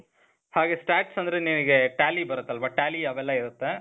ಹಾಗೆ stats ಅಂದ್ರೆ ನಿನಿಗೆ tally ಬರತ್ತಲ್ವ? tally ಅವೆಲ್ಲ ಇರತ್ತೆ.